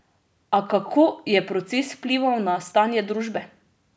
A kako je proces vplival na stanje družbe?